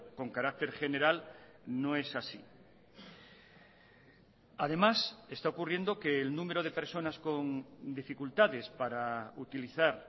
con carácter general no es así además está ocurriendo que el número de personas con dificultades para utilizar